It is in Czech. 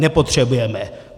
Nepotřebujeme.